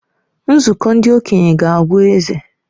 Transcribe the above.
Nzukọ ndị okenye ga-agwa eze.